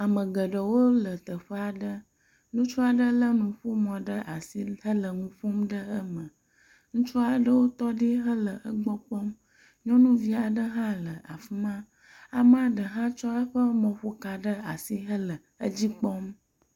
Ame geɖewo le teƒe aɖe, ŋutsu aɖe lé nuƒomɔ ɖe asi hele nu ƒom ɖe eme. Ŋutsu aɖewo tɔ ɖi hele egbɔ kpɔm, nyɔnuvi aɖe hã le afi ma. amea ɖe hã tsɔ eƒe nuƒoka ɖe asi hele edzi kpɔm.